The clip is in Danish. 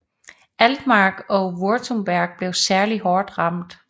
Altmark og Württemberg blev særlig hårdt ramt